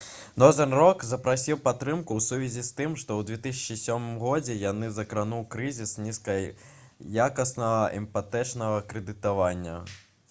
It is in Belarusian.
«нозэрн рок» запрасіў падтрымку ў сувязі з тым што ў 2007 г. яго закрануў крызіс нізкаякаснага іпатэчнага крэдытавання